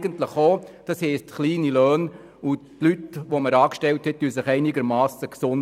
Das heisst, wir haben kleine Löhne, und unsere Angestellten vermehren sich einigermassen gesund.